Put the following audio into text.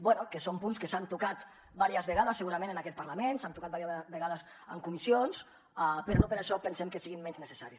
bé que són punts que s’han tocat vàries vegades segurament en aquest parlament s’han tocat vàries vegades en comissions però no per això pensem que siguin menys necessaris